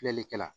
Filɛlikɛ la